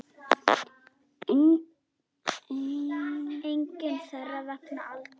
Engin þeirra vegna aldurs.